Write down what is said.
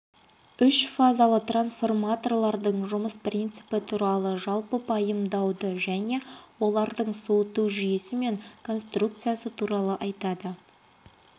үшфазалы трансформаторлардың жұмыс принципі туралы жалпы пайымдауды және олардың суыту жүйесі мен конструкциясы туралы айтады